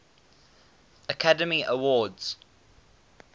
academy awards